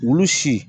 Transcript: Olu si